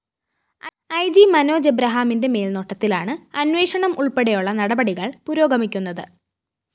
E G Manoj എബ്രഹാമിന്റെ മേല്‍നോട്ടത്തിലാണ് അന്വേഷണം ഉള്‍പ്പെടെയുള്ള നടപടികള്‍ പുരോഗമിക്കുന്നത്